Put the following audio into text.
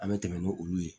An bɛ tɛmɛ n'olu ye